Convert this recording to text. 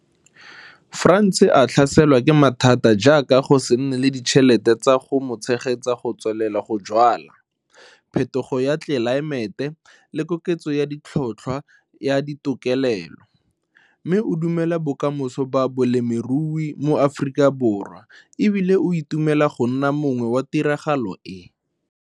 Frans a tlhaselwa ke mathata jaaka go se nne le ditšhelete tsa go mo tshegetsa go tswelela go jwala, phetogo ya tlelaemete, le koketso ya tlhotlhwa ya ditokelelo, mme o dumela bokamoso ba bolemirui mo Afrikaborwa e bile o itumela go nna mongwe wa tiragalo e.